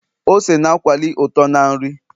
ose na akwali uto na nri